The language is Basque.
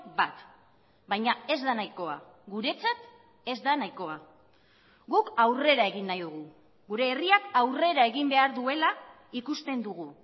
bat baina ez da nahikoa guretzat ez da nahikoa guk aurrera egin nahi dugu gure herriak aurrera egin behar duela ikusten dugu